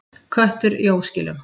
Köttur í óskilum.